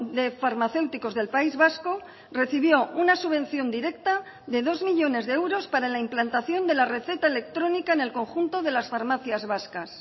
de farmacéuticos del país vasco recibió una subvención directa de dos millónes de euros para la implantación de la receta electrónica en el conjunto de las farmacias vascas